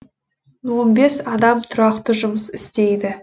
он бес адам тұрақты жұмыс істейді